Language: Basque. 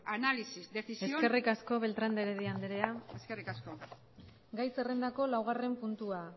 análisis decisión eskerrik asko eskerrik asko beltrán de heredia andrea gai zerrendako laugarren puntua